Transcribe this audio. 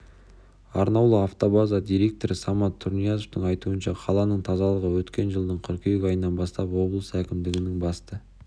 арнаулы автобаза директоры самат тұрниязовтың айтуынша қаланың тазалығы өткен жылдың қыркүйек айынан бастап облыс әкімдігінің басты